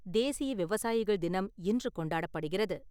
தேசிய விவசாயிகள் தினம் இன்று கொண்டாடப்படுகிறது.